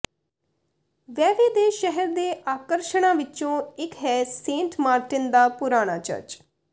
Vevey ਦੇ ਸ਼ਹਿਰ ਦੇ ਆਕਰਸ਼ਣਾਂ ਵਿਚੋਂ ਇੱਕ ਹੈ ਸੇਂਟ ਮਾਰਟਿਨ ਦਾ ਪੁਰਾਣਾ ਚਰਚ